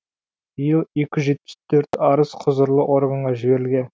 биыл екі жүз жетпіс төрт арыз құзырлы органға жіберілген